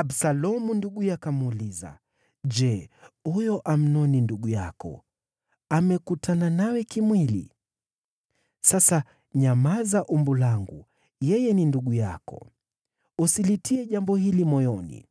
Absalomu nduguye akamuuliza, “Je, huyo Amnoni ndugu yako, amekutana nawe kimwili? Sasa nyamaza umbu langu, yeye ni ndugu yako. Usilitie jambo hili moyoni.”